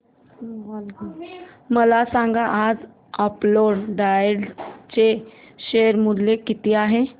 मला सांगा आज अपोलो टायर्स चे शेअर मूल्य किती आहे